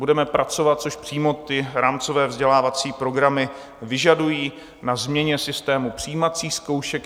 Budeme pracovat - což přímo ty rámcové vzdělávací programy vyžadují - na změně systému přijímacích zkoušek.